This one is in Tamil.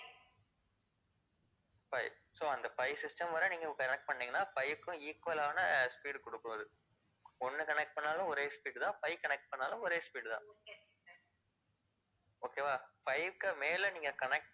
five, so அந்த five system வரை நீங்க connect பண்ணுனீங்கனா five க்கும் equal ஆன speed குடுக்கும் அது ஒண்ணு connect பண்ணுனாலும் ஒரே speed தான் five connect பண்ணுனாலும் ஒரே speed தான் okay வா, five க்கு மேல நீங்க connect